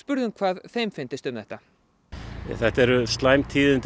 spurðum hvað þeim fyndist um þetta þetta eru slæm tíðindi